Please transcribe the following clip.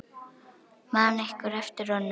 Man einhver eftir honum?